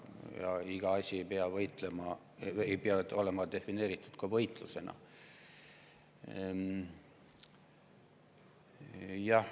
Ja iga asi ei pea olema defineeritud võitlusena.